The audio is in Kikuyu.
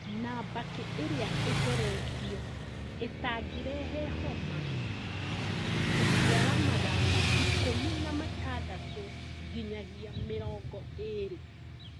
na mbakĩ ĩrĩa ĩtheretio itangĩrehe homa gũciara mathangũ ikũmi na matandatũ nginyagia mĩrongo ĩrĩ